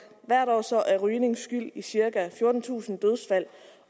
hvert år er rygning skyld i cirka fjortentusind dødsfald